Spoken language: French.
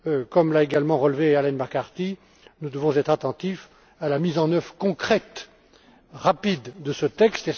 Comme l'a également relevé Arlene McCarthy, nous devons être attentifs à la mise en œuvre concrète et rapide de ce